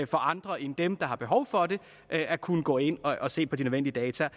for andre end dem der har behov for det at at kunne gå ind og se på de nødvendige data